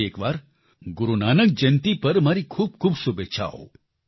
ફરી એકવાર ગુરુ નાનક જયંતી પર મારી ખૂબખૂબ શુભેચ્છાઓ